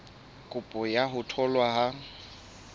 kopo ya ho tholwa ha